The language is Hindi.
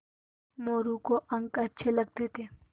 मोरू को अंक अच्छे लगते थे